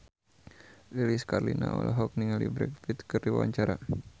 Lilis Karlina olohok ningali Brad Pitt keur diwawancara